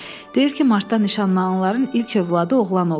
Deyir ki, martda nişanlananların ilk övladı oğlan olur.